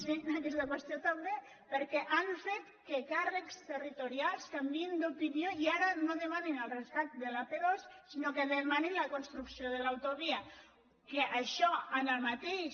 sí en aquesta qüestió també perquè han fet que càrrecs territorials canviïn d’opinió i ara no demanin el rescat de l’ap·dos sinó que demanin la construcció de l’autovia que això en el mateix